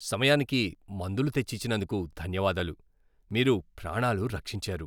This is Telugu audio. సమయానికి మందులు తెచ్చి ఇచ్చినందుకు ధన్యవాదాలు. మీరు ప్రాణాలు రక్షించారు.